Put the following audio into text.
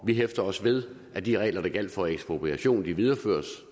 vi hæfter os ved at de regler der gjaldt for ekspropriation videreføres